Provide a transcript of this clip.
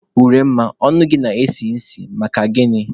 Uremma, ọnụ gị na-esi isi, maka gịnị?